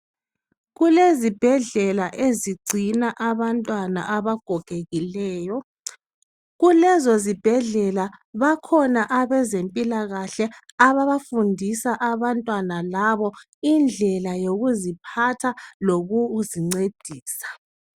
Kulezibhedlela ezigcina abantwana abagogekileyo kulezozibhedlela bakhona abezempila kahle ababafundisa abantwana labo indlela yokuziphatha lokuzincedisa